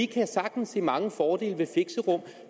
kan sagtens se mange fordele ved fixerum